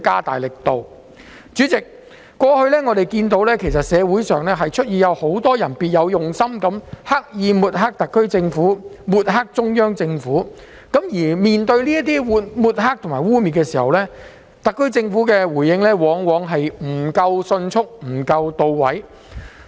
代理主席，過去社會上有很多別有用心的人，刻意抹黑特區政府和中央政府，而面對這些抹黑及污衊時，特區政府的回應往往不夠迅速和到位。